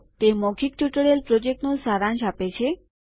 તે મૌખિક ટ્યુટોરીયલ પ્રોજેક્ટનું સારાંશ આપે છે